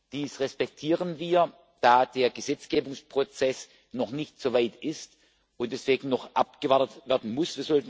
Dies respektieren wir, da der Gesetzgebungsprozess noch nicht so weit ist und deswegen noch abgewartet werden muss.